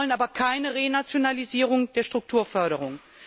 Wir wollen aber keine Renationalisierung der Strukturförderung.